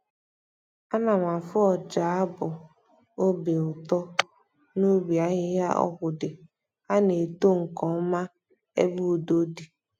Ana m afụ ọja abụ obi ụtọ n'ubi ahịhịa ọgwụ dị, ha na-eto nkeọma ebe udo di.